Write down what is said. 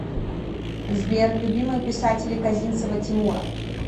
сбер любимые писатели козинцева тимура